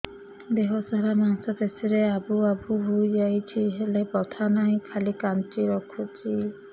ଦେହ ସାରା ମାଂସ ପେଷି ରେ ଆବୁ ଆବୁ ହୋଇଯାଇଛି ହେଲେ ବଥା ନାହିଁ ଖାଲି କାଞ୍ଚି ରଖୁଛି